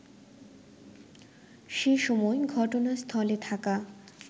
সেসময় ঘটনাস্থলে থাকা